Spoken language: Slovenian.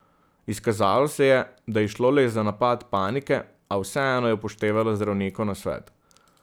Izkazalo se je, da je šlo le za napad panike, a vseeno je upoštevala zdravnikov nasvet.